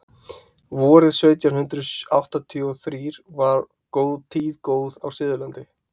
vorið sautján hundrað áttatíu og þrír var tíð góð á suðurlandi